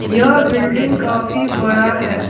यह बिल्डिंग काफी बड़ा है।